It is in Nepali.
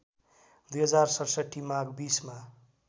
२०६७ माघ २०मा